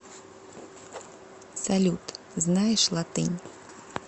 салют знаешь латынь